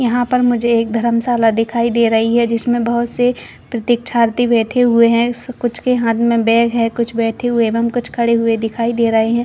यहाँ पर मुझे एक धरम साला दिखाई दे रही है जिसमें बहुत से प्रतीक्षार्थी बैठे हुए है कुछ के हाथ में बैग हैं कुछ बैठे हुए एवं कुछ खड़े हुए दिखाई दे रहै हैं।